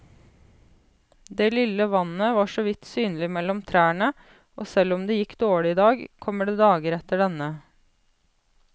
Det lille vannet var såvidt synlig mellom trærne, og selv om det gikk dårlig i dag, kommer det dager etter denne.